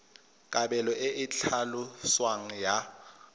kabelo e e tlhaloswang ya